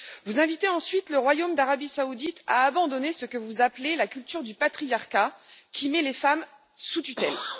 Vous invitez ensuite le royaume d'Arabie saoudite à abandonner ce que vous appelez la culture du patriarcat, qui met les femmes sous tutelle.